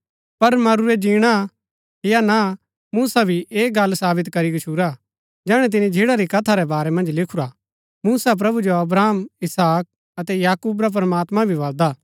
पर मरूरै जीणा या ना मुसा भी ऐह गल्ल सावित करी गच्छुरा जैहणै तिनी झिन्ड़ा री कथा रै बारै मन्ज लिखुरा मूसा प्रभु जो अब्राहम इसहाक अतै याकूब रा प्रमात्मां भी बलदा हा